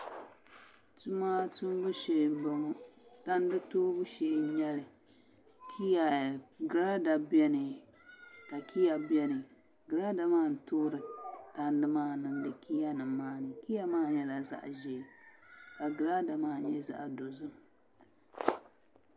Tuma tumbu shee n boŋo tandi toobu shee n nyɛli giraada biɛni ka kiya biɛni giraada maa n toori tandi maa niŋdi kiya nim maa ni kiya maa nyɛla zaɣ ʒiɛ ka giraada maa nyɛ zaɣ dozim